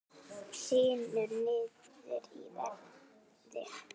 Hrynur niður í verði